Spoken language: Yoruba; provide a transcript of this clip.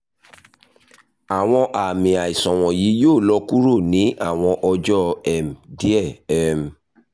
awọn aami aisan wọnyi yoo lọ kuro ni awọn ọjọ um diẹ um